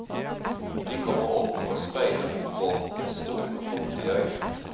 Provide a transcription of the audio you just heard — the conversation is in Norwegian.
De kommer opp og speider mot båten med store, fuktige øyne.